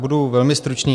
Budu velmi stručný.